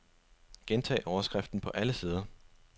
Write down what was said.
Gentag overskriften på alle sider.